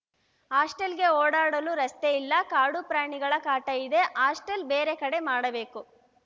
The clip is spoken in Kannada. ಹಾಸ್ಟಲ್‌ಗೆ ಓಡಾಡಲು ರಸ್ತೆ ಇಲ್ಲ ಕಾಡುಪ್ರಾಣಿಗಳ ಕಾಟ ಇದೆ ಹಾಸ್ಟೆಲ್‌ ಬೇರೆ ಕಡೆ ಮಾಡಬೇಕು